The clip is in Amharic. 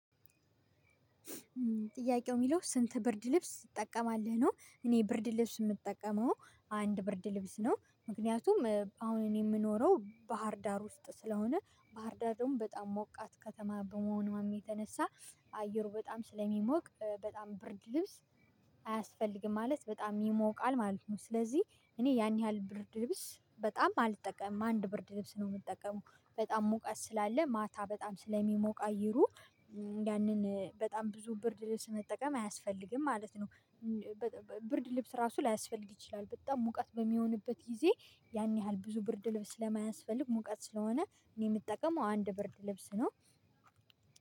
ጥያቄው የሚለው ስንት ብርድ ልብስ ትጠቀማለህ ነው? እኔ ብርድ ልብስ የምጠቀመው አንድ ብርድ ልብስ ነው ምክንያቱም አሁን እኔ የምኖረው ባህር ዳር ውስጥ ስለሆነ ባህር ዳርም በጣም ሞቃት ከተማ በመሆኑም የተነሳ አየሩ በጣም ስለሚሞቅ በጣም ብርድ ልብስ አያስፈልግም ማለት በጣም ይሞቃል ማለት ነው። ስለዚህ እኔ ያን ያህል ብርድ ልብስ በጣም አልጠቀምም አንድ ብርድ ልብስ ነው የምጠቀመው። በጣም ሙቀት ስላለ ማታ በጣም ስለሚሞቅ አየሩ ያንን በጣም ብዙ ብርድ ልብስ መጠቀም አያስፈልግም ማለት ነው። ብርድ ልብስ ራሱ ላያስፈልግ ይችላል። በጣም ሙቀት በሚሆንበት ጊዜ ያን ያህል ብዙ ብርድ ልብስ ስለማያስፈልግ ሙቀት ስለሆነ እኔ የምጠቀመው አንድ ብርድ ልብስ ነው።